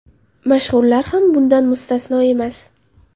Mashhurlar ham bundan mustasno emas.